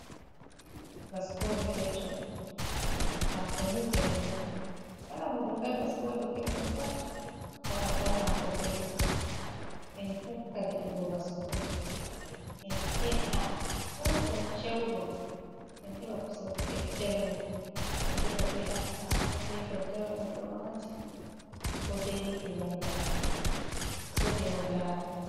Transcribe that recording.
Baskoje keccoum, haako ni velugo kala mo defai baskoje keccum pat o anda haako belɗum, en tokka defugo baskoje en he’a chewɗum chewɗum en heɓa kusel keccel man, en defa be attarugo be daddawa men ɗo maati ko be liɗɗi banda gode on lara.